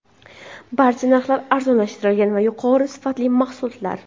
Barcha narxlar arzonlashtirilgan va yuqori sifatli mahsulotlar.